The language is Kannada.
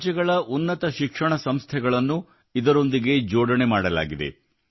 ಬೇರೆ ಬೇರೆ ರಾಜ್ಯಗಳ ಉನ್ನತ ಶಿಕ್ಷಣ ಸಂಸ್ಥೆಗಳನ್ನು ಇದರೊಂದಿಗೆ ಜೋಡಣೆ ಮಾಡಲಾಗಿದೆ